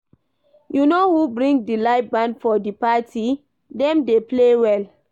You know who bring di live band for di party? dem dey play well.